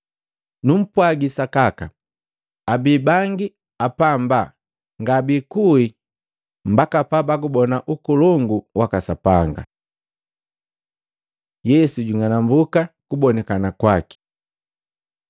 Numpwagi sakaka, abii bangi apamba ngabikuwi mbaka pabagubona Ukolongu waka Sapanga.” Yesu jung'anambuka kubonikana waki Matei 17:1-8; Maluko 9:2-8